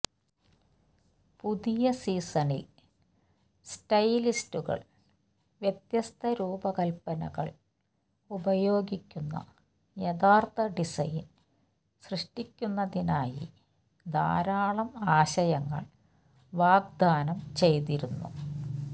പുതിയ സീസണിൽ സ്റ്റൈലിസ്റ്റുകൾ വ്യത്യസ്ത രൂപകൽപ്പനകൾ ഉപയോഗിക്കുന്ന യഥാർത്ഥ ഡിസൈൻ സൃഷ്ടിക്കുന്നതിനായി ധാരാളം ആശയങ്ങൾ വാഗ്ദാനം ചെയ്തിരുന്നു